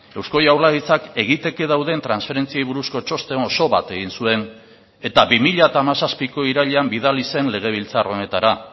eusko jaurlaritzak egiteke dauden transferentziei buruzko txosten oso bat egin zuen eta bi mila hamazazpiko irailean bidali zen legebiltzar honetara